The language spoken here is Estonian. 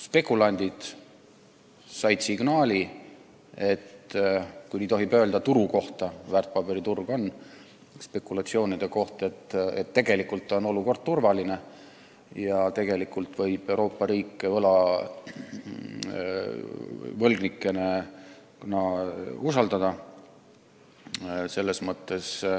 Spekulandid – kui seda sõna tohib kasutada turust rääkides, väärtpaberiturg on spekulatsioonide koht – said signaali, et tegelikult on olukord turvaline ja Euroopa riike võib võlgnikena usaldada.